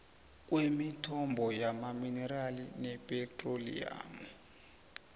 kwemithombo yamaminerali nephethroliyamu